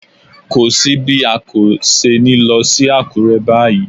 Kò sí bí a kò ṣe ní lọ sí Àkúrẹ́ báyìí.